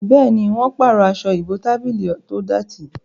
Béèni wón parọ Aṣọ ìbotábílì tó dọti.